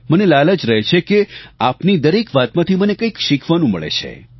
મને લાલચ રહે છે કે આપની દરેક વાતમાંથી મને કંઈક શીખવાનું મળે છે